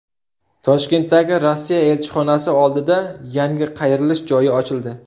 Toshkentdagi Rossiya elchixonasi oldida yangi qayrilish joyi ochildi.